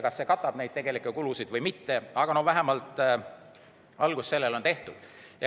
Kas see katab tegelikke kulusid või mitte, aga vähemalt algus on tehtud.